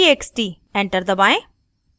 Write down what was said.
enter दबाएं